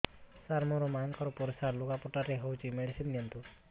ସାର ମୋର ମାଆଙ୍କର ପରିସ୍ରା ଲୁଗାପଟା ରେ ହଉଚି ମେଡିସିନ ଦିଅନ୍ତୁ